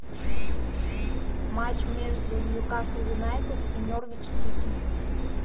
матч между ньюкасл юнайтед и норвич сити